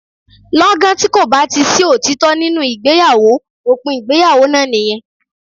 Lọ́gán tí kò bá ti sí òtítọ́ nínú ìgbéyàwó, òpin ìgbéyàwó náà nìyẹn.